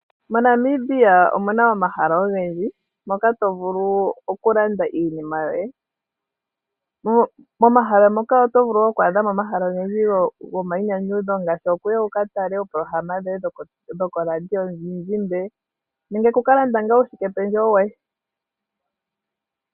MoNamibia omu na omahala ogendji moka to vulu okulanda iinima yoye. Momahala moka oto vulu oku adha mo omahala ogendji gomayinyanyudho ngaashi okuya wu ka tale oopolohalama dhoye koradio yomuzizimba nenge wu ka lande uushikependjewo woye.